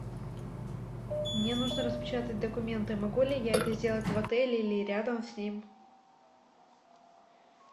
мне нужно распечатать документы могу ли я это сделать в отеле или рядом с ним